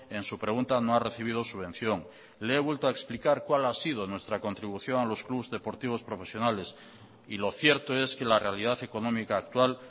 en su pregunta no ha recibido subvención le he vuelto a explicar cuál ha sido nuestra contribución a los clubs deportivos profesionales y lo cierto es que la realidad económica actual